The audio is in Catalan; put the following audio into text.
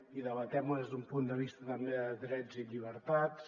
i debatem ho des d’un punt de vista també de drets i llibertats